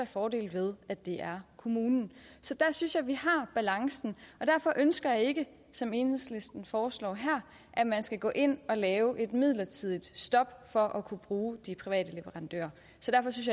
fordele ved at det er kommunen så der synes jeg at vi har balancen derfor ønsker jeg ikke som enhedslisten foreslår her at man skal gå ind og lave et midlertidigt stop for at kunne bruge de private leverandører